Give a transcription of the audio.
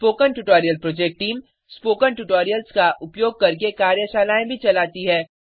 spoken tutorial project team spoken tutorials का उपयोग करके कार्यशालाएँ भी चलाती है